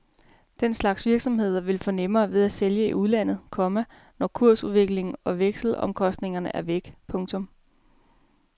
Den slags virksomheder vil få nemmere ved at sælge i udlandet, komma når kursudsving og vekselomkostninger er væk. punktum